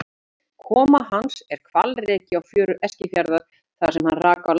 Koma hans er hvalreki á fjörur Eskifjarðar þar sem hann rak á land.